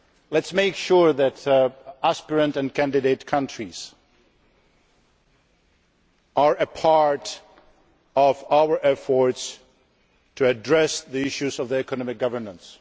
Let us make sure that aspirant and candidate countries are part of our efforts to address the issues of economic governance.